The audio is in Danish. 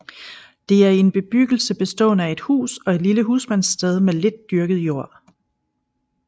Det er en bebyggelse bestående af et hus og et lille husmandssted med lidt dyrket jord